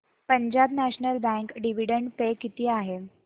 Punjab national bank dividend pay किती आहे